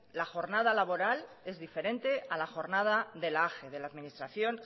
la jornada laboral es diferente a la jornada de la age de la administración